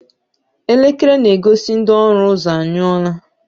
Elekere na-egosi ndị ọrụ ụzọ anyụọla.